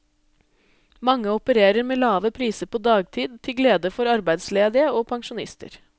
Mange opererer med lave priser på dagtid, til glede for arbeidsledige og pensjonister.